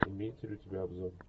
имеется ли у тебя обзор